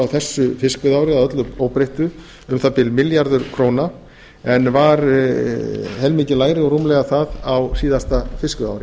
fiskveiðiári að öllu óbreyttu um það bil milljarður króna en var helmingi lægra og rúmlega það á síðasta fiskveiðiári